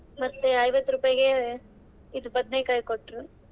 ಮತ್ತೆ ಐವತ್ತು ರೂಪಾಯಿಗೆ, ಇದು ಬದನೇಕಾಯಿ ಕೊಟ್ರು.